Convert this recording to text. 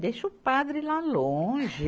Deixa o padre lá longe.